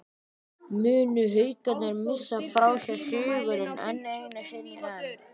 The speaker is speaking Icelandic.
Munu Haukarnir missa frá sér sigurinn, enn einu sinni???